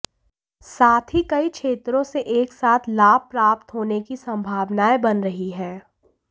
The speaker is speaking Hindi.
साथ ही कई क्षेत्रों से एक साथ लाभ प्राप्त होने की संभावनाएं बन रही है